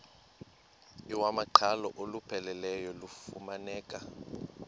iwamaqhalo olupheleleyo lufumaneka